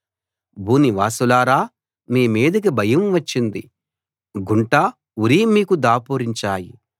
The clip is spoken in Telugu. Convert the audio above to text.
భూనివాసులారా మీ మీదికి భయం వచ్చింది గుంట ఉరి మీకు దాపురించాయి